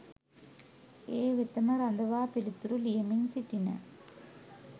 ඒ වෙතම රඳවා පිළිතුරු ලියමින් සිටින